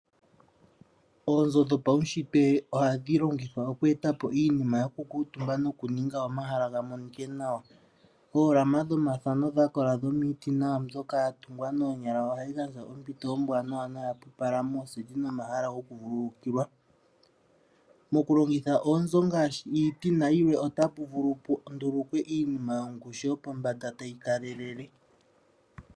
Oonzo dhopaunshitwe ohadhi longithwa okweeta po iinima yoku kuutumba nokuninga omahala ga monike nawa. Oolama dhomathano dha kola dhomiiti nawa mbyoka ya tungwa noonyala ohadhi gandja ompito ombwaanawa noyapupala mooseti nomomahala gokuvulukilwa. Mokulongitha oonzo ngaashi iiti nayilwe otapu vulu pu ndulukwe iinima yongushu yo pombanda tayi kalelele.